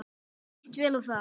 Mér líst vel á það.